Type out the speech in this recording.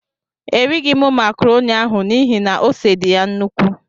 Erighi mụ macroni ahụ n'ihi na ose dị ya nnukwu.